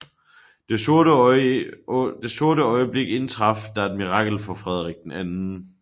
I dette sorte øjeblik indtraf der et mirakel for Frederik 2